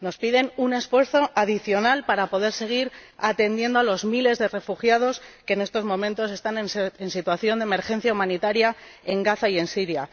Nos piden un esfuerzo adicional para poder seguir atendiendo a los miles de refugiados que en estos momentos están en situación de emergencia humanitaria en Gaza y en Siria.